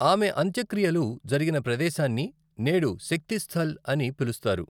ఆమె అంత్యక్రియలు జరిగిన ప్రదేశాన్ని నేడు శక్తిస్థల్ అని పిలుస్తారు.